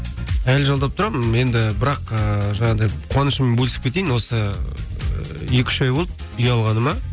әлі жалдап тұрамын енді бірақ ыыы жаңағыдай қуанышыммен бөлісіп кетейін осы екі үш ай болды үй алғаныма